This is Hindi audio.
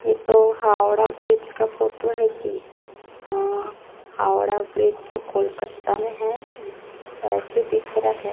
ये तो हावड़ा ब्रिज का फोटो है जी अ हावड़ा ब्रिज जो कलकत्ता में है ऐसे दिख रहा है।